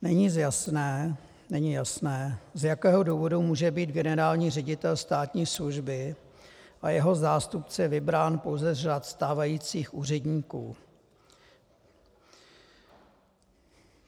Není jasné, z jakého důvodu může být generální ředitel státní služby a jeho zástupce vybrán pouze z řad stávajících úředníků.